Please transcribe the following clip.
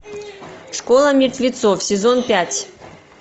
школа мертвецов сезон пять